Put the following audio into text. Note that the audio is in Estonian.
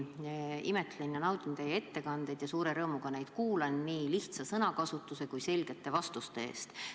Ma alati imetlen ja naudin teie ettekandeid ning kuulan neid suure rõõmuga, seda nii lihtsa sõnakasutuse kui ka selgete vastuste pärast.